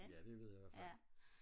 ja det ved jeg ihvertfald